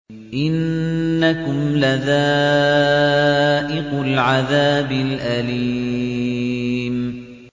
إِنَّكُمْ لَذَائِقُو الْعَذَابِ الْأَلِيمِ